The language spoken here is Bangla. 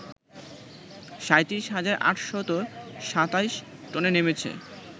৩৭ হাজার ৮২৭ টনে নেমেছ